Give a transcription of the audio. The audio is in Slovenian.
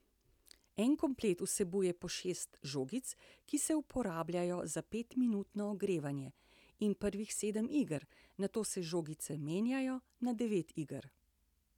En komplet vsebuje po šest žogic, ki se uporabljajo za petminutno ogrevanje in prvih sedem iger, nato se žogice menjajo na devet iger.